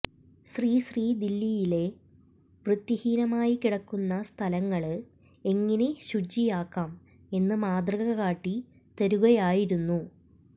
ശ്രീ ശ്രീ ദില്ലിയിലെ വൃത്തിഹീനമായി കിടക്കുന്ന സ്ഥലങ്ങള് എങ്ങിനെ ശുചിയാക്കാം എന്ന് മാതൃകകാട്ടി തരുകയായിരുന്നു